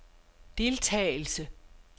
deltagelse